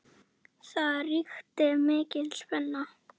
Það ríkti mikil spenna.